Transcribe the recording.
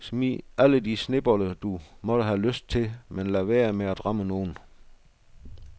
Smid alle de snebolde du måtte have lyst til, men lad være med at ramme nogen.